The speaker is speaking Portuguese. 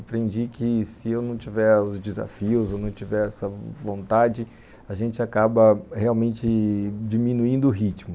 Aprendi que se eu não tiver os desafios, se eu não tiver essa vontade, a gente acaba realmente diminuindo o ritmo.